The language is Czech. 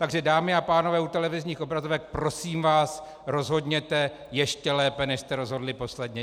Takže dámy a pánové u televizních obrazovek, prosím vás, rozhodněte ještě lépe, než jste rozhodli posledně.